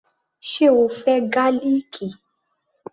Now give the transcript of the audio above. Ṣe o fẹ́ gálìkì?